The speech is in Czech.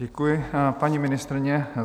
Děkuji, paní ministryně.